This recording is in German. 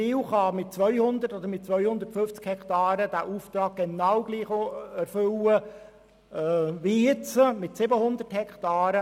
Witzwil kann mit 200 oder 250 Hektaren seinen Auftrag genau gleich erfüllen wie jetzt mit 700 Hektaren.